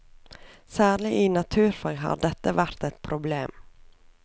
Særlig i naturfag har dette vært et problem.